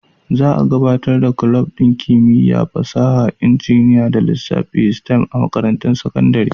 Za a gabatar da kulob ɗin Kimiyya, Fasaha, Injiniya da Lissafi (STEM) a makarantun sakandare.